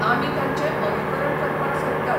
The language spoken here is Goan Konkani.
आमी तांचें अनुकरण करपाक सोदतात.